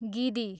गिदी